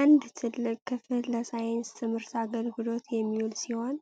አንድ ትልቅ ክፍል ለሳይንስ ትምህርት አገልግሎት የሚውል ሲሆን፣